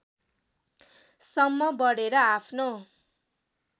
सम्म बढेर आफ्नो